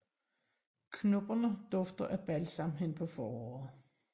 Knopperne dufter af balsam hen på foråret